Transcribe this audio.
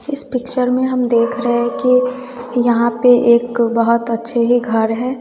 इस पिक्चर में हम देख रहे कि यहां पे एक बहुत अच्छे ही घर है।